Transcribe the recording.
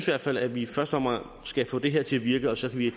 hvert fald at vi i første omgang skal få det her til at virke og så kan vi